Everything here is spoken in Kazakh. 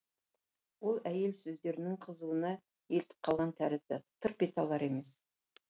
ол әйел сөздерінің қызуына елтіп қалған тәрізді тырп ете алар емес